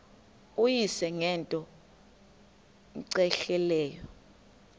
uyise ngento cmehleleyo